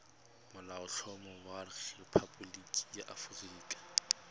molaotlhomo wa rephaboliki ya aforika